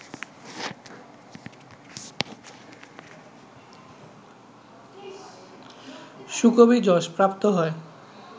সুকবি যশঃ প্রাপ্ত হয়